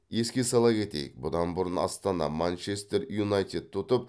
еске сала кетейік бұдан бұрын астана манчестер юнайтедті ұтып